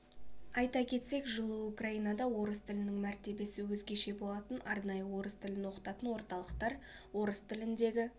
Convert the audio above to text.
айта кетсек жылы украинада орыс тілінің мәртебесі өзгеше болатын арнайы орыс тілін оқытатын орталықтар орыс тіліндегі